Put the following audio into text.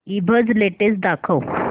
ईबझ लेटेस्ट दाखव